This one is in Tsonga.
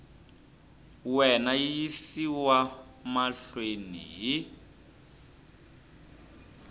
wena yi yisiwa mahlweni hi